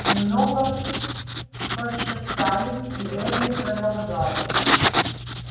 немного пошептались и эрни продолжал